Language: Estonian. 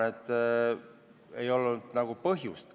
Selleks ei olnud nagu põhjust.